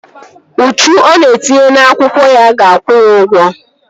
Uchu ọ na-etinye n'akwụkwọ ya ga-akwụ ya ụgwọ